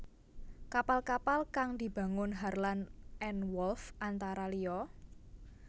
Kapal kapal kang dibangun Harland and Wolff antara liya